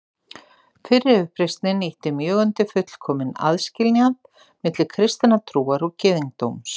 Fyrri uppreisnin ýtti mjög undir fullkominn aðskilnað milli kristinnar trúar og gyðingdóms.